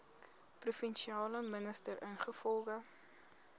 provinsiale minister ingevolge